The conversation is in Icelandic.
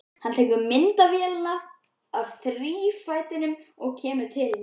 Hann tekur myndavélina af þrífætinum og kemur til hennar.